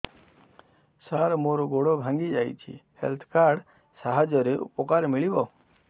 ସାର ମୋର ଗୋଡ଼ ଭାଙ୍ଗି ଯାଇଛି ହେଲ୍ଥ କାର୍ଡ ସାହାଯ୍ୟରେ ଉପକାର ମିଳିବ